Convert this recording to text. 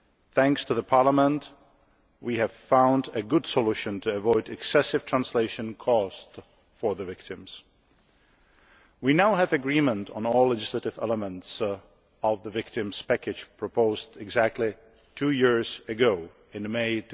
Thanks to Parliament, we have found a good solution to avoid excessive translation costs for the victims. We now have agreement on all legislative elements of the victims' package proposed exactly two years ago, in May